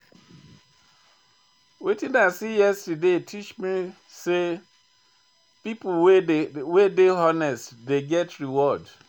Wetin I see yesterday teach me sey pipo wey dey honest dey get reward.